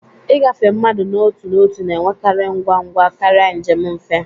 Ịgafe mmadụ n'otu n'otu na-enwekarị ngwa ngwa karịa njem nfe